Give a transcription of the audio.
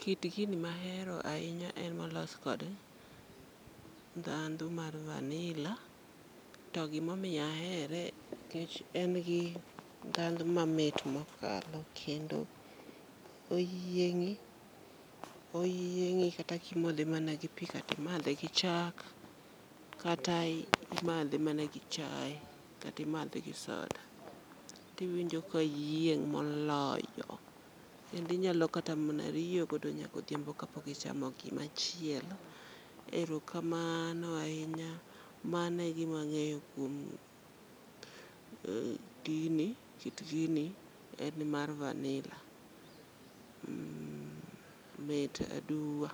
Kit gini mahero ahinya en molos kod ndhandh mar vanilla to gima omiyo ahere en ni en gi ndhandhu moro mamit mokalo kendo oyiengi, oyiengi kata kimadhe mana gi pii kata imadhe gi chak, kata imadhe mana gi chae, kata imadhe gi soda tiwinjo ka iyieng moloyo kendo inyalo kata riyo nyaka odhiambo kapok ichamo gimachielo. Erokamano ahinya, mano egima angeyo kuom gini, kit gini , mmh, en mar vanilla, mit aduwa,